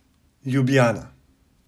Ljubljana.